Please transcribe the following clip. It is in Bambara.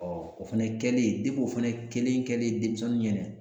o fɛnɛ kɛlen de o fɛnɛ kelen kɛlen denmisɛnnin ɲɛna